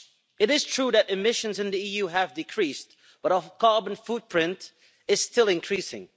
It is true that emissions in the EU have decreased, but our carbon footprint is still increasing.